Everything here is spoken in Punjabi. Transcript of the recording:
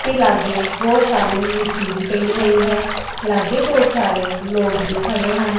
ਤੇ ਲਾਗੇ ਬਹੁਤ ਸਾਰੇ ਮਿੱਟੀ ਵੀ ਪਈ ਹੋਈ ਹੈ ਲਾਗੇ ਬਹੁਤ ਸਾਰੇ ਲੋਕ ਵੀ ਖੜੇ ਹਨ।